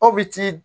Aw bi ti